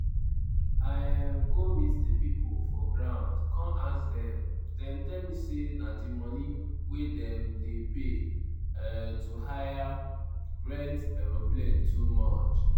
"i um go meet di pipo for ground kon ask dem dem tell me say di money wey dem dey pay um to hire (rent) aeroplane too much.